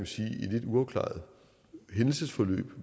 sige et lidt uafklaret hændelsesforløb